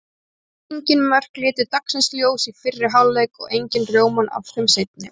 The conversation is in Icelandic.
Engin mörk litu dagsins ljós í fyrri hálfleik og engin rjómann af þeim seinni.